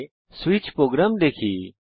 এখন C এ switch program দেখি